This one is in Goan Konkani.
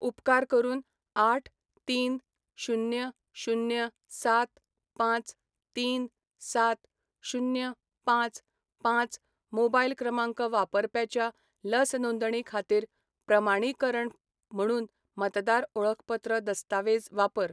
उपकार करून आठ, तीन, शुन्य, शुन्य, सात, पांच, तीन, सात, शुन्य, पांच, पांच मोबायल क्रमांक वापरप्याच्या लस नोंदणी खातीर प्रमाणीकरण म्हुणून मतदार ओळखपत्र दस्तावेज वापर.